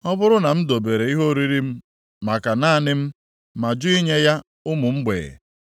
ọ bụrụ na m dobere ihe oriri m maka naanị m, ma jụ inye ya ụmụ mgbei;